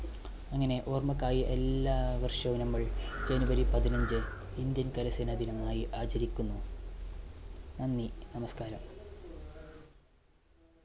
അങ്ങനെ ഓർമ്മയ്ക്കായി എല്ലാവർഷവും നമ്മൾ january പതിനഞ്ച് indian കരസേനാ ദിനമായി ആചരിക്കുന്നു. നന്ദി നമസ്കാരം.